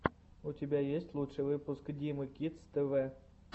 у тебя есть лучший выпуск димы кидс тв